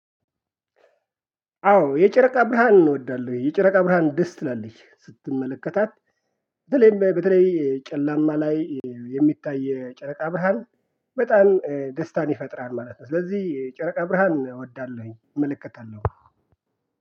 አዎ የጨረቃ ብርሃን እወዳለሁኝ። የጨረቃ ብርሃን ደስ ትላለች ስትመለከታት በተለይም በተለይ ጨላማ ላይ የሚታይ የጨረቃ ብርሃን በጣም ደስታን ይፈጥራል ማለት ነው። ስለዚህ የጨረቃ ብርሃን እወዳለሁኝ እመለከታለው።